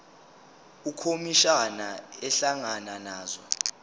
ukhomishana ehlangana nazo